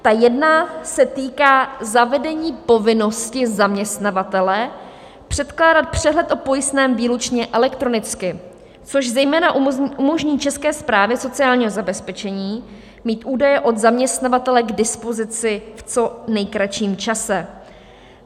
Ta jedna se týká zavedení povinnosti zaměstnavatele předkládat přehled o pojistném výlučně elektronicky, což zejména umožní České správě sociálního zabezpečení mít údaje od zaměstnavatele k dispozici v co nejkratším čase.